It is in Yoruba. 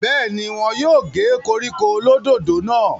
bẹ́ẹ̀ni, wọn yóò gé koríko olódòdó náà